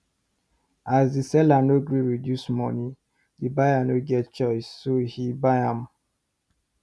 as the seller nor gree reduce money the buyer nor get choice so he buy am